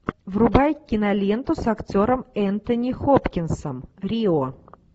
врубай киноленту с актером энтони хопкинсом рио